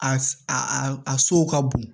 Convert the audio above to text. A a a sow ka bon